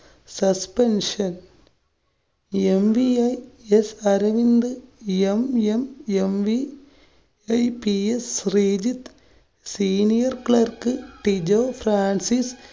suspension. mvis Aravind, mmmv Shri. ps Sreejith, senior clerk Tijo Francis